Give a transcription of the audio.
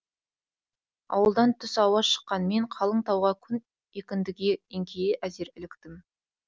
ауылдан түс ауа шыққан мен қалың тауға күн екіндіге еңкейе әзер іліктім